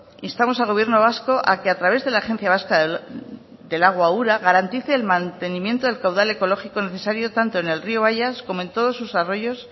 instamos al gobierno vasco a que a través de la agencia vasca del agua ura garantice el mantenimiento del caudal ecológico necesario tanto en el río bayas como en todos sus arroyos